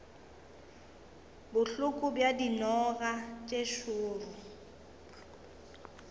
bohloko bja dinoga tše šoro